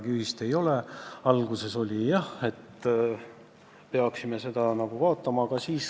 Kas te küsisite arvamust selle ettepaneku kohta ka töötukassalt, kes peab iga päev tegelema selle halduskoormusega ja bürokraatiaga, mis häirib nii inimesi kui ka ametnikke?